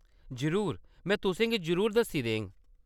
जरूर, में तुसें गी जरूर दस्सी देङ।